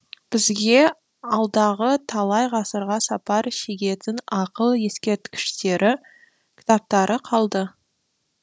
бізге алдағы талай ғасырға сапар шегетін ақыл ескерткіштері кітаптары қалды